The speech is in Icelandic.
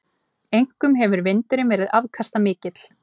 Einkum hefur vindurinn verið afkastamikill.